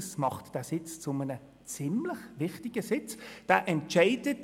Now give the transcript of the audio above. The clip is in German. Das macht ihn zu einem ziemlich wichtigen Sitz, da gehen Sie wohl mit mir einig.